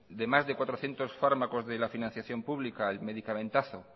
de más de cuatrocientos fármacos de la financiación pública el medicamentazo